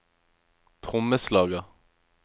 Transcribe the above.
trommeslager